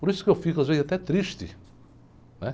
Por isso que eu fico às vezes até triste, né?